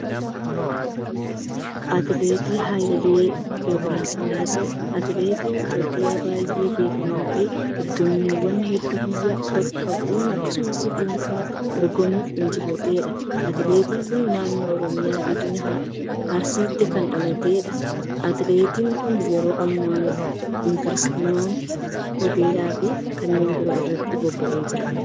Atileet Hayilee Gabrasillaaseen, atileetii Itoophiyaa baay'ee beekamaa ta'e dorgommiiwwan hedduu biyya bakka bu'uun akkasumas dhuunfaan dorgomuun injifatee dha. Atileetiin kun, naannoo Oromiyaa godina Arsiitti kan dhalatee dha. Atileetin kun, yeroo ammaa inveestmantii hoteelaa fi kanneen biroo irratti bobba'ee jira.